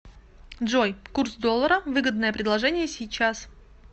джой курс доллара выгодное предложение сейчас